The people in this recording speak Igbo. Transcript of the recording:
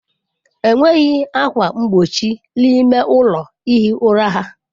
Enweghị ákwà mgbochi n'ime ụlọ ihi ụra ha.